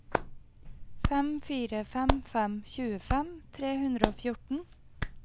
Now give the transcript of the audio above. fem fire fem fem tjuefem tre hundre og fjorten